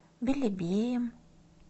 белебеем